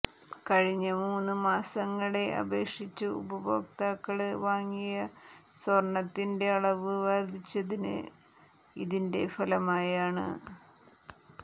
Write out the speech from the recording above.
കഴിഞ്ഞ മൂന്ന് മാസങ്ങളെ അപേക്ഷിച്ച് ഉപഭോക്താക്കള് വാങ്ങിയ സ്വര്ണത്തിന്റെ അളവ് വര്ദ്ധിച്ചത് ഇതിന്റെ ഫലമായാണ്